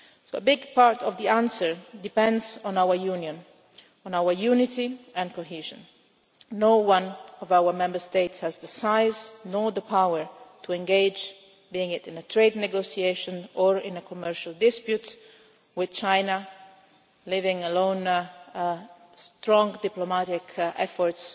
so. A big part of the answer depends on our Union, on our unity and cohesion. None of our Member States has the size, nor the power to engage, be it in a trade negotiation or in a commercial dispute, with China, leaving alone stronger diplomatic efforts